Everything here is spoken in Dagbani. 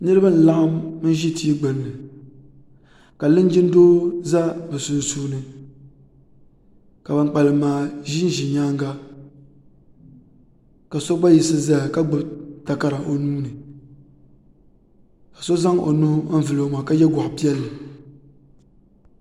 Niribi laɣim ʒi tii gbunni ka linjin doo za bɛ sunsuuni ka ban kpalam maa ʒinʒi nyanga ka so gba yiɣisi zaya ka gbubi takara o nuuni so zaŋ o nuu vuli o maŋa ka yɛ gɔɣu piɛli.